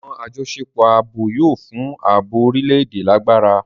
Awọn ajọṣepọ ààbò yóò fún ààbò orílè-èdè lágbára.